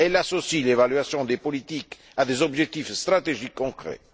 Elle associe l'évaluation des politiques à des objectifs stratégiques concrets.